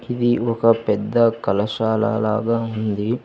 ఇది ఒక పెద్ద కళశాల లాగా ఉంది.